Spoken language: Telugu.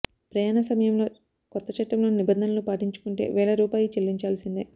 ప్రయాణ సమమంలో కొత్త చట్టంలోని నింబంధనలు పాటించకుంటే వేల రూపాయు చెల్లించాల్సిందే